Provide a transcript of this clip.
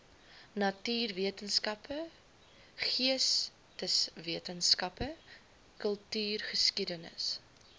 natuurwetenskappe geesteswetenskappe kultuurgeskiedenis